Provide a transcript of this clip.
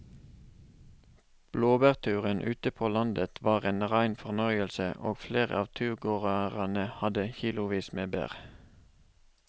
Blåbærturen ute på landet var en rein fornøyelse og flere av turgåerene hadde kilosvis med bær.